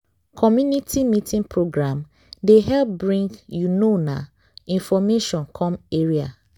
community meeting program dey help bring you know na information come area.